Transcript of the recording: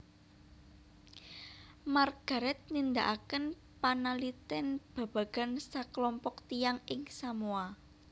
Margaret nindakaken panalitèn babagan saklompok tiyang ing Samoa